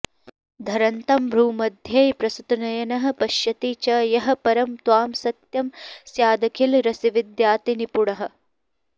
धरन्तं भ्रूमध्ये प्रसृतनयनः पश्यति च यः परं त्वां सत्यं स्यादखिलरसविद्यातिनिपुणः